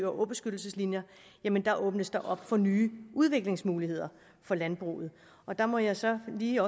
og åbeskyttelseslinjer åbnes der op for nye udviklingsmuligheder for landbruget og der må jeg så lige